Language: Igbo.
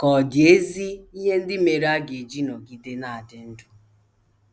Ka ọ̀ dị ezi ihe ndị mere a ga - eji nọgide na - adị ndụ?